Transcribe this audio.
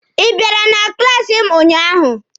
Ị biara na klaasi m ụnyaahụ?